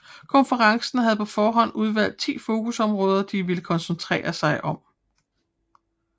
Konferencen havde på forhånd udvalgt ti fokusområder de ville koncentrere sig om